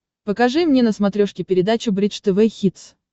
покажи мне на смотрешке передачу бридж тв хитс